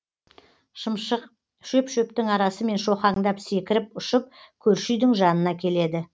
шымшық шөп шөптің арасымен шоқаңдап секіріп ұшып көрші үйдің жанына келеді